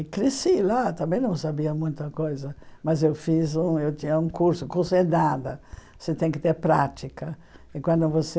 E cresci lá, também não sabia muita coisa, mas eu fiz um, eu tinha um curso, curso é nada, você tem que ter prática, e quando você